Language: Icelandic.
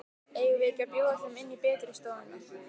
Eigum við ekki að bjóða þeim inn í betri stofuna?